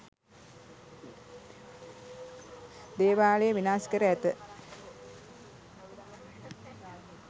දේවාලය විනාශ කර ඇත